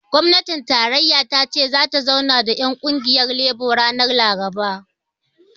Gwamnatin tarayya ta ce zata zauna da ƴan ƙungiyar lebo ranar laraba